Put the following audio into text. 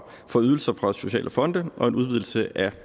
for ydelser fra sociale fonde og en udvidelse af